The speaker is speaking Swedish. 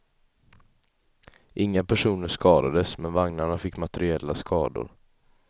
Inga personer skadades, men vagnarna fick materiella skador.